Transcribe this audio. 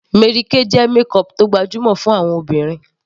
Mary Kay jẹ́ makeup tó gbajúmọ̀ fún àwọn obìnrin